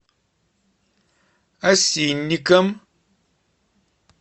осинникам